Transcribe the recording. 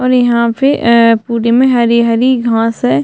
और यहाँ पे अ-अ पूरे में हरी-हरी घांस है।